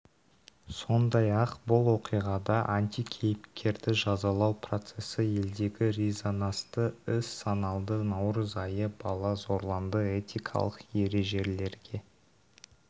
сондай-ақ бұл оқиғада антикейіпкерді жазалау процесі елдегі резонасты іс саналды наурыз айы бала зорланды этикалық ережелелерге